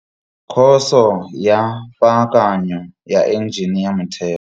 Khoso ya Paakanyo ya Enjene ya motheo.